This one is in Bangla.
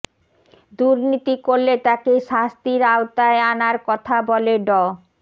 দুর্নীতি করলে তাকে শাস্তির আওতায় আনার কথা বলে ড